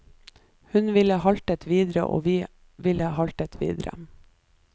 Hun ville haltet videre og vi ville haltet videre.